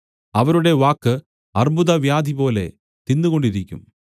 അവരുടെ വാക്ക് അർബ്ബുദവ്യാധിപോലെ തിന്നുകൊണ്ടിരിക്കും